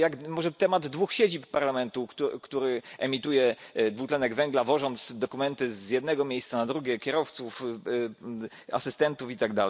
Może temat dwóch siedzib Parlamentu, który emituje dwutlenek węgla, wożąc dokumenty z jednego miejsca na drugie, kierowców, asystentów itd.